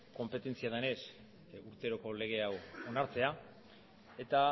konpetentzia denez urteroko lege hau onartzea eta